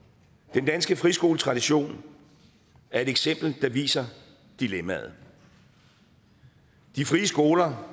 den danske friskoletradition er et eksempel der viser dilemmaet de frie skoler